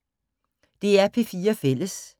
DR P4 Fælles